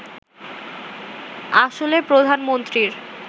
আসলে প্রধানমন্ত্রীর